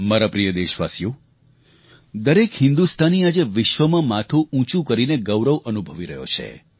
મારા પ્રિય દેશવાસીઓ દરેક હિન્દુસ્તાની આજે વિશ્વમાં માથું ઉંચું કરીને ગૌરવ અનુભવી રહ્યો છે